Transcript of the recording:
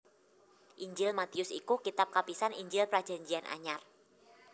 Injil Matius iku kitab kapisan Injil Prajanjian Anyar